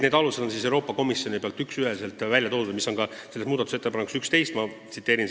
Selle aluse on Euroopa Komisjon konkreetselt välja toonud ja see on kirjas muudatusettepanekus nr 11.